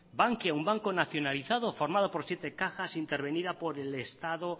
bankia un banco nacionalizado formado por siete cajas intervenida por el estado